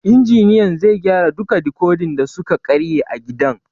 Injiniyan zai gyara duka dikodin da suka karye a gidan